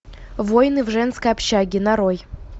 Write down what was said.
войны в женской общаге нарой